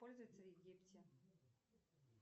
пользуются в египте